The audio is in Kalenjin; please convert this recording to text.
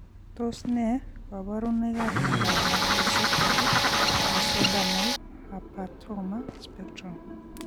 Tos ne kaborunoikab miondop macrocephaly mesodermal hamartoma spectrum?